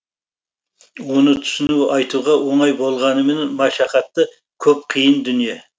оны түсіру айтуға оңай болғанмымен машақаты көп қиын дүние